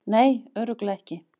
Nei, örugglega ekki.